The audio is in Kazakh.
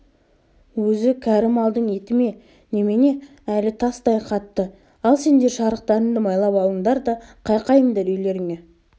өзі кәрі малдың еті ме немене әлі тастай қатты ал сендер шарықтарыңды майлап алыңдар да қайқайыңдар үйлеріңе